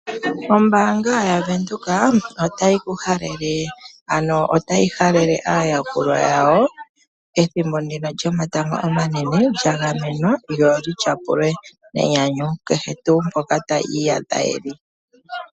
Ombanga yaVenduka otayi halele aayakulwa yawo ethimbo ndino lyomatango omanene lyagamenwa lyo olitya pulwe nenyanyu kehe tu mpoka taye yi iyadha yeli.